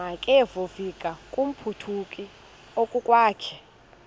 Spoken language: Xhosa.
makevovike kumphuthumi okokwakhe